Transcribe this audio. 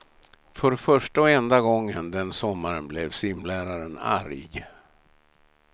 För första och enda gången den sommaren blev simläraren arg.